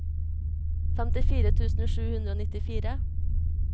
femtifire tusen sju hundre og nittifire